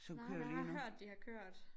Nej men jeg har hørt de har kørt